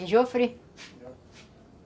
E Jofre?